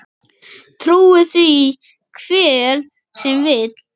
Trúi því hver sem vill.